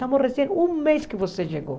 Estamos recente um mês que você chegou.